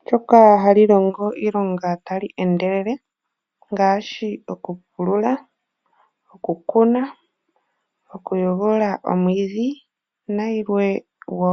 ndyoka hali longo iilonga tali endelele ngaashi okupulula, okukuna, okuyogolola omwiidhi na yilwe wo.